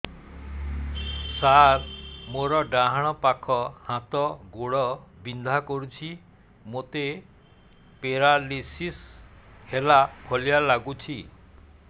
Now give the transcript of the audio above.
ସାର ମୋର ଡାହାଣ ପାଖ ହାତ ଗୋଡ଼ ବିନ୍ଧା କରୁଛି ମୋତେ ପେରାଲିଶିଶ ହେଲା ଭଳି ଲାଗୁଛି